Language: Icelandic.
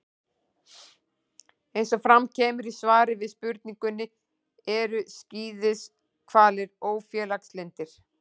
Eins og fram kemur í svari við spurningunni: Eru skíðishvalir ófélagslyndir?